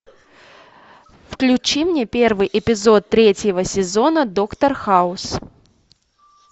включи мне первый эпизод третьего сезона доктор хаус